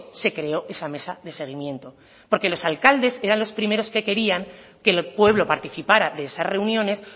se creó esa mesa de seguimiento porque los alcaldes eran los primeros que querían que el pueblo participara de esas reuniones